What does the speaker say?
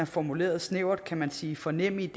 formuleret snævert kan man sige for nemid